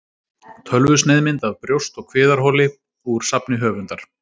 Tölvusneiðmynd af brjóst- og kviðarholi úr safni höfundar.